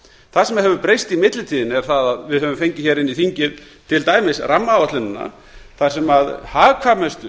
það sem hefur breyst í millitíðinni er að við höfum inn í þingið til dæmis rammaáætlunina þar sem hagkvæmustu